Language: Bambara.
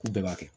K'u bɛɛ b'a kɛ